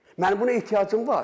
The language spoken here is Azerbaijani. Mənim buna ehtiyacım var.